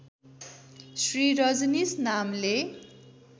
श्री रजनीश नामले